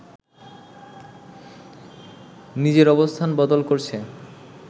নিজের অবস্থান বদল করছে